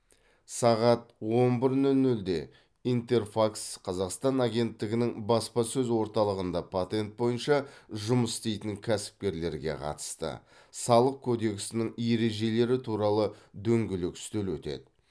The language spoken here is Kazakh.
сағат он бір нөл нөлде интерфакс қазақстан агенттігінің баспасөз орталығында патент бойынша жұмыс істейтін кәсіпкерлерге қатысты салық кодексінің ережелері туралы дөңгелек үстел өтеді